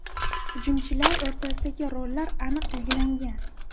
Hujumchilar o‘rtasidagi rollar aniq belgilangan.